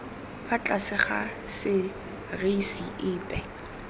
fa tlase ga serisi epe